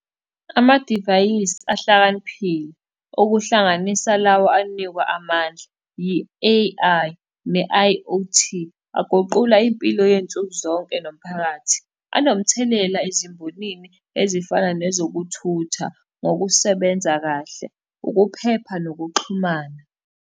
Amadivayisi ahlakaniphile, okuhlanganisa lawa anikwa amandla, yi-A_I ne-I_O_T. Aguqula impilo yey'nsuku zonke nomphakathi. Anomthelela ezimbonini ezifana nezokuthutha ngokusebenza kahle, ukuphepha nokuxhumana.